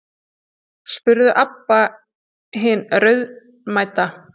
spurði Abba hin raunamædd.